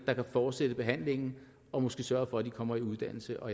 kan fortsætte behandlingen og måske sørge for at de kommer i uddannelse og